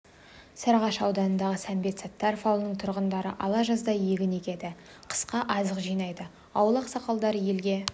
сарыағаш ауданындағы сәмбет саттаров ауылының тұрғындары ала жаздай егін егеді қысқа азық жинайды ауыл ақсақалдары елге